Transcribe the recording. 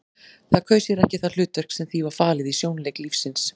Það kaus sér ekki það hlutverk sem því var falið í sjónleik lífsins.